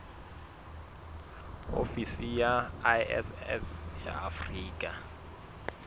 ofisi ya iss ya afrika